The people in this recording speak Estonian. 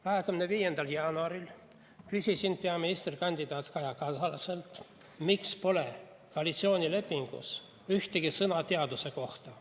25. jaanuaril küsisin peaministrikandidaat Kaja Kallaselt, miks pole koalitsioonilepingus ühtegi sõna teaduse kohta.